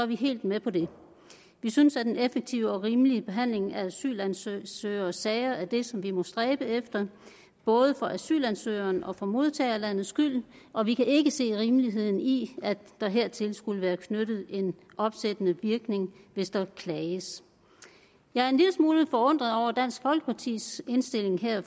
vi helt med på det vi synes at en effektiv og rimelig behandling af asylansøgeres sager sager er det som vi må stræbe efter både for asylansøgerens og for modtagerlandets skyld og vi kan ikke se rimeligheden i at der hertil skulle være knyttet en opsættende virkning hvis der klages jeg er en lille smule forundret over dansk folkepartis indstilling her